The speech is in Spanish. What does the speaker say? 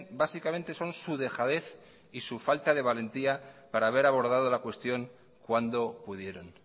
básicamente son su dejadez y su falta de valentía para haber abordado la cuestión cuando pudieron